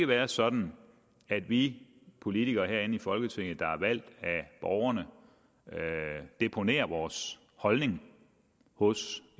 være sådan at vi politikere herinde i folketinget der er valgt af borgerne deponerer vores holdning hos